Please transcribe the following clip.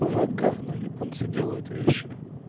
вот говно японцы делают вещи